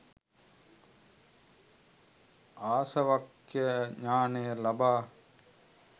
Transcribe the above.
ආසවක්ඛය ඥානය ලබා